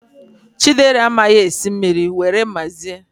Chidera amaghi esi esi mmiri, were were!